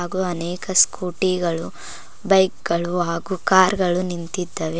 ಹಾಗು ಅನೇಕ ಸ್ಕೂಟಿ ಗಳು ಬೈಕ್ ಗಳು ಕಾರು ಗಳು ನಿಂತಿದ್ದಾವೆ.